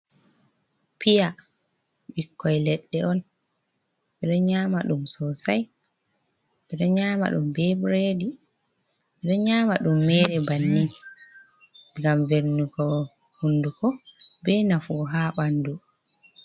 Piya ɓikkoi leɗɗe on ɓeɗo nyama Ɗum sosai ɓeɗo nyama Ɗum be bread ɓeɗo nyama ɗum mere banni ngam velnugo Hunduko be nafu ha ɓandu